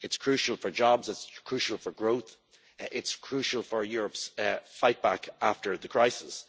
It's crucial for jobs, it's crucial for growth and it's crucial for Europe's fightback after the crisis.